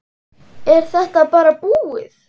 Er þetta bara búið?